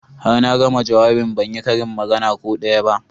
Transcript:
Har na gama jawabin ban yi karin magana ko daya ba